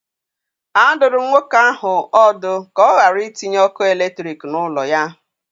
A dụrụ m nwoke ahụ ọdụ ka ọ ghara itinye ọkụ eletrik n'ụlọ ya.